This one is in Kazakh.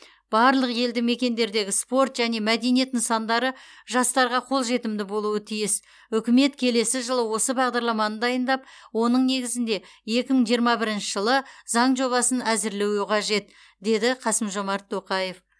барлық елді мекендердегі спорт және мәдениет нысандары жастарға қолжетімді болуы тиіс үкімет келесі жылы осы бағдарламаны дайындап оның негізінде екі мың жиырма бірінші жылы заң жобасын әзірлеуі қажет деді қасым жомарт тоқаев